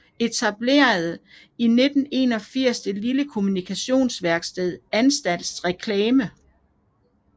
Etablerede 1981 det lille kommunikationsværksted Ansats Reklame